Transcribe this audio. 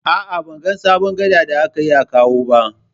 A'a, ban ga sabon gada da aka yi a Kawo ba.